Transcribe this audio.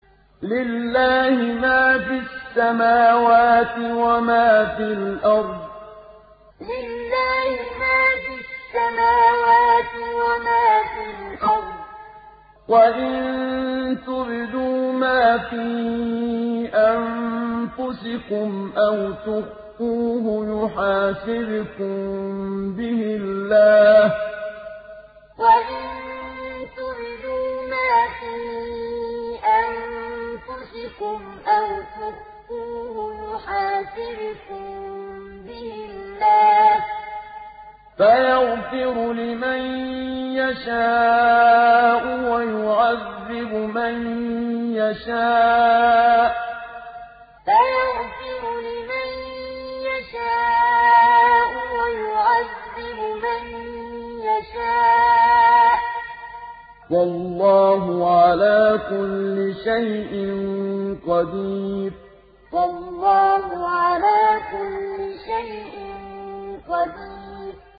لِّلَّهِ مَا فِي السَّمَاوَاتِ وَمَا فِي الْأَرْضِ ۗ وَإِن تُبْدُوا مَا فِي أَنفُسِكُمْ أَوْ تُخْفُوهُ يُحَاسِبْكُم بِهِ اللَّهُ ۖ فَيَغْفِرُ لِمَن يَشَاءُ وَيُعَذِّبُ مَن يَشَاءُ ۗ وَاللَّهُ عَلَىٰ كُلِّ شَيْءٍ قَدِيرٌ لِّلَّهِ مَا فِي السَّمَاوَاتِ وَمَا فِي الْأَرْضِ ۗ وَإِن تُبْدُوا مَا فِي أَنفُسِكُمْ أَوْ تُخْفُوهُ يُحَاسِبْكُم بِهِ اللَّهُ ۖ فَيَغْفِرُ لِمَن يَشَاءُ وَيُعَذِّبُ مَن يَشَاءُ ۗ وَاللَّهُ عَلَىٰ كُلِّ شَيْءٍ قَدِيرٌ